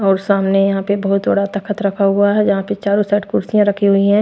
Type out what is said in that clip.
और सामने यहां पे बहुत बड़ा तख्त रखा हुआ है जहां पे चारों साइड कुर्सियां रखी हुई है।